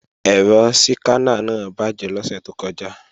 Ẹ̀rọ síkáná náà bàjé lọ́sẹ̀ tó kọjá